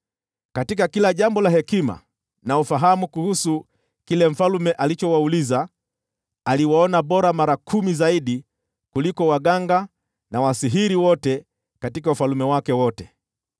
Katika kila jambo la hekima na ufahamu kuhusu kile mfalme alichowauliza, aliwaona bora mara kumi zaidi kuliko waganga na wasihiri wote katika ufalme wake wote.